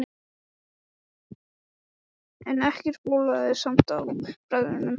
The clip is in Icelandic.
En ekkert bólaði samt á bræðrunum fjórum.